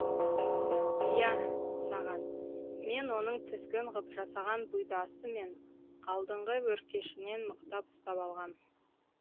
иә саған мен оның тізгін ғып жасаған бұйдасы мен алдыңғы өркешінен мықтап ұстап алғам